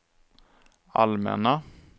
allmänna